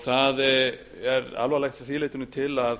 það er alvarlegt að því leytinu til að